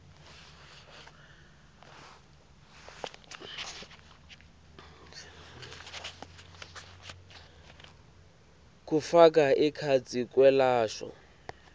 kufaka ekhatsi kwelashwa